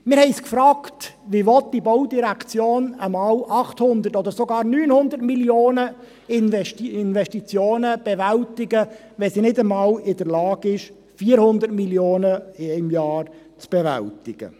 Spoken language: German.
Wir haben uns gefragt, wie die Baudirektion einmal 800 Mio. Franken oder sogar 900 Mio. Franken Investitionen bewältigen, wenn sie nicht einmal in der Lage ist, 400 Mio. Franken in einem Jahr zu bewältigen.